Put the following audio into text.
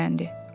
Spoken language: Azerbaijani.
Dilləndi.